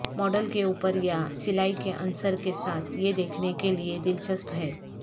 model کے اوپر یا سلائی کے عنصر کے ساتھ یہ دیکھنے کے لئے دلچسپ ہے